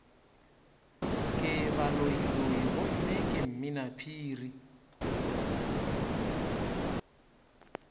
ke baloiloi gomme ke mminaphiri